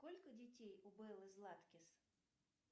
сколько детей у беллы златкис